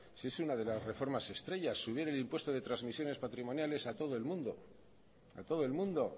si es una de las reformas estrella subir el impuesto de transmisiones patrimoniales a todo el mundo a todo el mundo